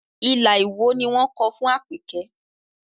Ilà Ìwó ni wọ́n kọ fún Àpèkẹ́